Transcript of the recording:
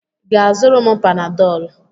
Ị ga-azụrụ m Panadọlụ?